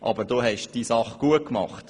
Aber du hast deine Sache gut gemacht.